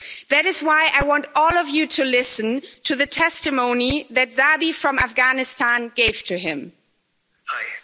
That is why I want all of you to listen to the testimony that Zabi from Afghanistan gave to him, Hi.